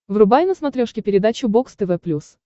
врубай на смотрешке передачу бокс тв плюс